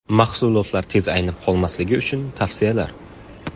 Mahsulotlar tez aynib qolmasligi uchun tavsiyalar.